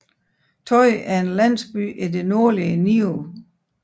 Toi er en landsby i det nordlige Niue